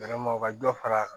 ka dɔ far'a kan